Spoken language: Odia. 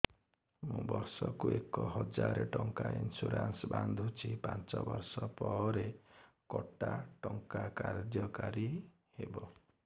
ମୁ ବର୍ଷ କୁ ଏକ ହଜାରେ ଟଙ୍କା ଇନ୍ସୁରେନ୍ସ ବାନ୍ଧୁଛି ପାଞ୍ଚ ବର୍ଷ ପରେ କଟା ଟଙ୍କା କାର୍ଯ୍ୟ କାରି ହେବ